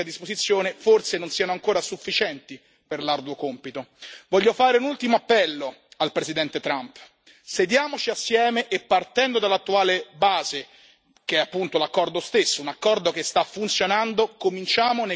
Voglio fare un ultimo appello al Presidente Trump sediamoci assieme e, partendo dall'attuale base, che è appunto l'accordo stesso, un accordo che sta funzionando, cominciamo i negoziati per ampliarlo, venendo incontro alle vostre preoccupazioni.